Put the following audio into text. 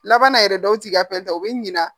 Laban na yɛrɛ dɔw t'i ka fɛn ta u bɛ ɲina